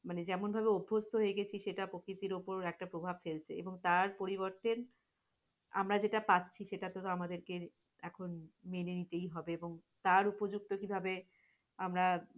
মানে যেমন ভাবে অভস্ত্য হয়ে গেছি সেটা প্রকিতির ওপর এখটা প্রভাব ফেলবে এবং তার পরিবর্তে আমরা যেটা পাচ্ছি সেটা কে তো আমাদেরকে এখন মেনে নিতেই হবে এবং তার উপযুক্ত কিভাবে? আমরা